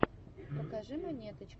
покажи монеточка